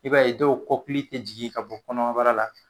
I b'a ye dɔw kɔkili tɛ jigin ka bɔ kɔnɔbara la